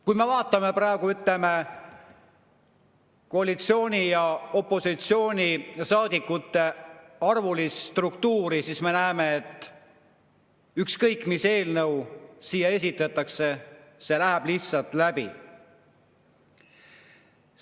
Kui me vaatame praegu koalitsiooni- ja opositsioonisaadikute arvu, siis me näeme, et ükskõik, mis eelnõu siia esitatakse, see läheb lihtsalt läbi.